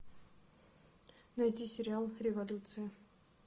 найди сериал революция